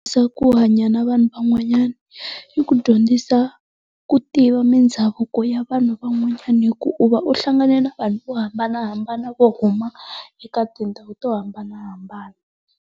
ku hanya na vanhu van'wanyana, yi ku dyondzisa ku tiva mindhavuko ya vanhu van'wanyani hi ku u va u hlangane na vanhu vo hambanahambana vo huma eka tindhawu to hambanahambana.